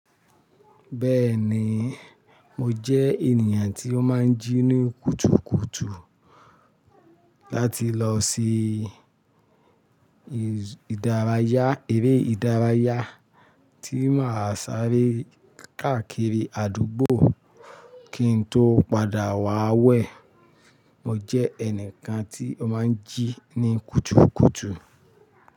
Bẹ́ẹ̀ni, mo jẹ́ ènìyàn tí ó máa ń jí ní kùtùkùtù láti lọ sí ìdárayá, eré ìdárayá tí màá sáré káàkiri àdúgbò kí n tó padà wá wẹ̀. Mo jẹ́ ẹnìkan tí ó máa ń jí ní kùtùkùtù.